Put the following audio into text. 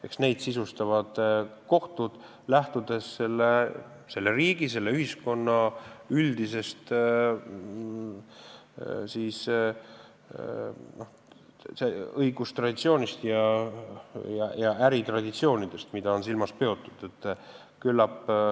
Eks seda sisustavad kohtud, lähtudes selle riigi, selle ühiskonna üldisest õigustraditsioonist ja äritraditsioonidest, mida on silmas peetud.